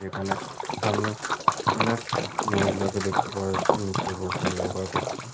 যেখানে সামনে অনেক মহিলাকে দেখতে পাওয়া যাচ্ছে নিচে বসে যোগা করতে।